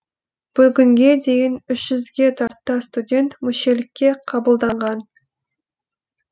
бүгінге дейін үш жүзге тарта студент мүшелікке қабылданған